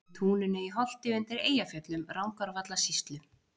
Í túninu í Holti undir Eyjafjöllum, Rangárvallasýslu.